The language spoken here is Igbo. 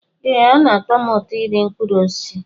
Ee, ọ na-atọ m ụtọ iri mkpụrụ osisi